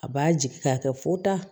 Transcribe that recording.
A b'a jigi k'a kɛ fo ta